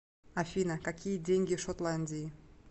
афина какие деньги в шотландии